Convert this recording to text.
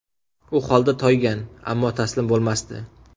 U holdan toygan, ammo taslim bo‘lmasdi.